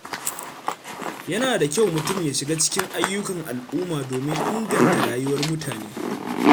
Yana da kyau mutum ya shiga cikin ayyukan al’umma domin inganta rayuwar mutane.